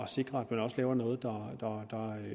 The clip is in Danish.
sikre at man også laver noget der